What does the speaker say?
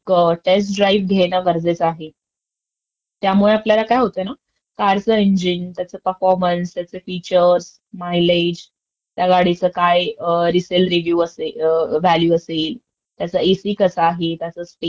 Space म्हणजे त्या गाडीत व्यवस्थित कम्फर्ट आहे का नाही आहे सगळं आपल्याला त्या अं..टेस्ट ड्राईव्हमधून मिळेल आपल्याला ती माहिती. आणि त्यानंतर आपल्यला जर कार खरेदी करताना फायनान्सची पण मदतं घ्यायची असेल